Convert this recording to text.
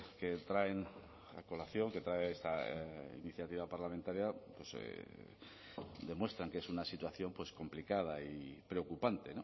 que traen a colación que trae esta iniciativa parlamentaria demuestran que es una situación complicada y preocupante